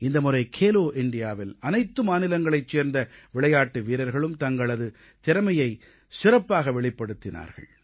இந்த முறை கேலோ இண்டியாவில் அனைத்து மாநிலங்களைச் சேர்ந்த விளையாட்டு வீரர்களும் தங்களது திறமையை சிறப்பாக வெளிப்படுத்தினார்கள்